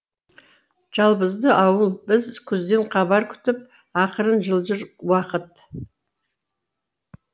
жалбызды ауыл біз күзден хабар күтіп ақырын жылжыр уақыт